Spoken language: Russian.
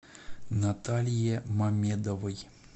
наталье мамедовой